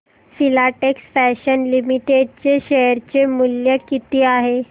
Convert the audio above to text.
Filatex fashions limited चे share मूल्य किती आहे